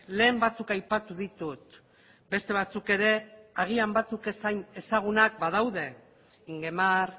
lehen batzuk aipatu ditut beste batzuk ere agian batzuk ez hain ezagunak badaude ingemar